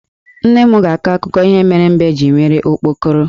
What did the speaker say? Nne m ga-akọ akụkọ ihe mere mbe ji nwee okpokoro.